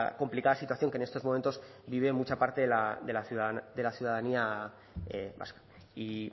complicada situación que en estos momentos vive mucha parte de la ciudadanía vasca y